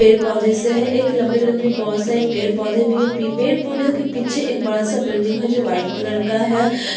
पेड़ -पौधे से है एक लम्बे -लम्बे बहुत सारे पेड़ -पौधे भी है पि पेड़ -पौधे के पीछे एक बड़ा - सा बिल्डिंग है जो वाइट कलर का है।